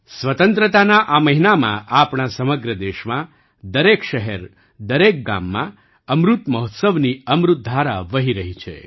સ્વતંત્રતાના આ મહિનામાં આપણા સમગ્ર દેશમાં દરેક શહેર દરેક ગામમાં અમૃત મહોત્સવની અમૃત ધારા વહી રહી છે